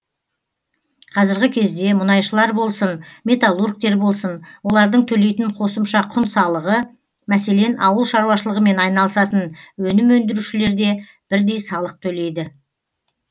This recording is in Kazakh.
қазіргі кезде мұнайшылар болсын металлургтер болсын олардың төлейтін қосымша құн салығы мәселен ауыл шаруашылығымен айналысатын өнім өндірушілер де бірдей салық төлейді